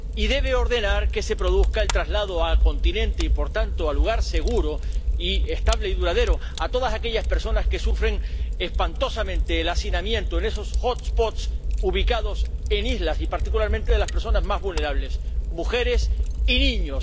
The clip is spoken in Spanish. Y debe ordenar que se produzca el traslado al continente y, por tanto, a lugar seguro y estable y duradero, a todas aquellas personas que sufren espantosamente el hacinamiento en esos hotspots ubicados en islas, y particularmente de las personas más vulnerables mujeres y niños.